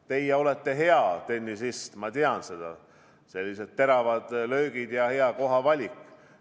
Teie olete hea tennisist, ma tean – sellised teravad löögid ja hea kohavalik.